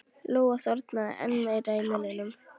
Lóa þornaði enn meira í munninum.